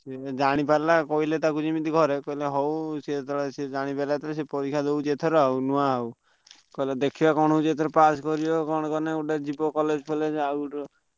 ସିଏ ଜାଣି ପାରିଲା କହିଲେ ତାକୁ ଯେମିତି ଘରେ ସିଏ କହିଲେ ହଉ ସିଏ ଜାଣିଦେଲା ଜେତବେଳେ ସିଏ ପରୀକ୍ଷା ଦଉଛି ଏଥର ଆଉ ନୂଆ ଆଉ କହିଲେ ଦେଖିଆ କଣ ହଉଛି ଏଥର pass କରିବ କଣ କଲେ ଯିବ college ଫଲେଜ ଆଉ।